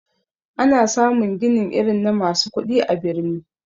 Ana samun ginin irin na masu kudi a birni.